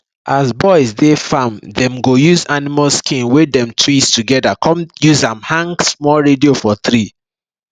as boys dey farm dem go use animal skin wey dem twist together come use am hang small radio for tree